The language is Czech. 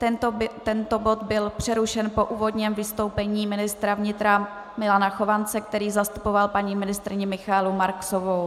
Tento bod byl přerušen po úvodním vystoupení ministra vnitra Milana Chovance, který zastupoval paní ministryni Michaelu Marksovou.